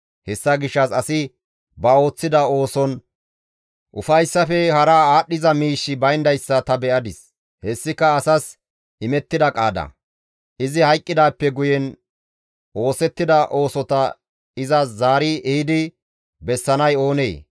Hessa gishshas asi ba ooththida ooson ufayssafe hara aadhdhiza miishshi bayndayssa ta be7adis; hessika asas imettida qaada; izi hayqqidaappe guye oosettida oosota iza zaari ehidi bessanay oonee?